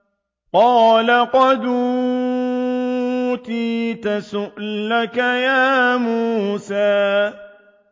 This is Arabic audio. قَالَ قَدْ أُوتِيتَ سُؤْلَكَ يَا مُوسَىٰ